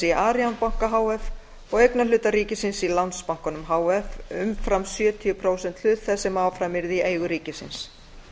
í arion banka h f og eignarhluta ríkisins í landsbankanum h f umfram sjötíu prósent hlut þess sem áfram yrði í eigu ríkisins